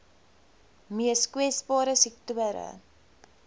mees kwesbare sektore